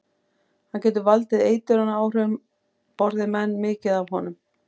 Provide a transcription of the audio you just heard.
Hann getur valdið eitrunaráhrifum borði menn mikið af honum.